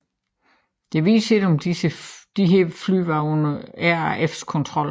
Det vides ikke om disse fly var under RAFs kontrol